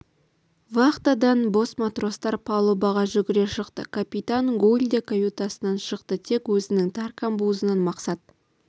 вахтадан бос матростар палубаға жүгіре шықты капитан гуль де каютасынан шықты тек өзінің тар камбузынан мақсат